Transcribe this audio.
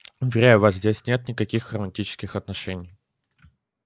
уверяю вас здесь нет никаких романтических отношений